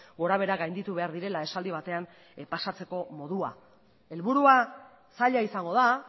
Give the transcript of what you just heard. gorabehera gainditu behar direla esaldi batean pasatzeko modua helburua zaila izango da